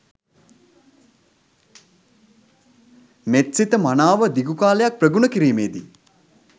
මෙත්සිත මනාව දිගු කාලයක් ප්‍රගුණ කිරීමේදී